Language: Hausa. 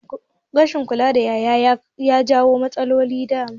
Rashin kula da ƴaƴa ya jawo matsaloli da dama